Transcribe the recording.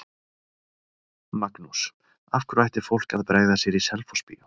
Magnús: Af hverju ætti fólk að bregða sér í Selfossbíó?